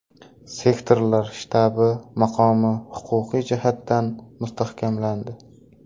Sektorlar shtabi maqomi huquqiy jihatdan mustahkamlandi.